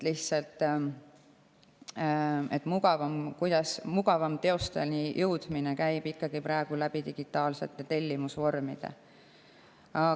Lihtsalt mugavam teosteni jõudmine käib praegu ikkagi digitaalsete tellimusvormide abil.